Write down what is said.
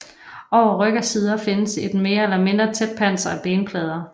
Over ryg og sider findes et mere eller mindre tæt panser af benplader